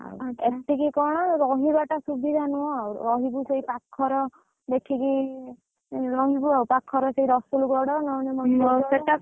ଏତିକି କଣ ରହିବା ଟା ଶୁବିଧା ନୁହ ରହିବୁ ସେଇ ପାଖରେ, ଦେଖିକି, ରହିବୁ ଆଉ ପାଖରେ ସେଇ ରସୁଲଗଡ଼ ନହେଲେ ମଞ୍ଚେଶ୍ଵର।